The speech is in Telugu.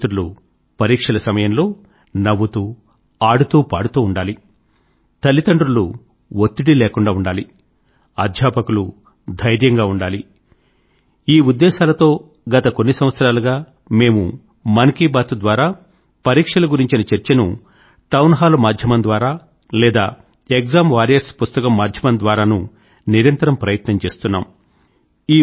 నా యువ మిత్రులు పరీక్షల సమయం లో నవ్వుతూ ఆడుతూ పాడుతూ ఉండాలి తల్లిదండ్రులు వత్తిడి లేకుండా ఉండాలి అధ్యాపకులు ధైర్యంగా ఉండాలి అనే ఉద్దేశాలతో గత కొన్ని సంవత్సరాలుగా మేము మన్ కీ బాత్ ద్వారా పరీక్షల గురించిన చర్చను టౌన్ హాల్ మాధ్యమం ద్వారా లేదా ఎగ్జామ్ వారియర్స్ పుస్తకం మాధ్యమం ద్వారానూ నిరంతరం ప్రయత్నం చేస్తున్నాము